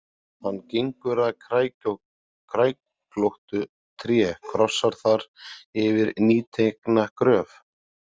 Hann gengur að kræklóttu tré, krossar þar yfir nýtekna gröf.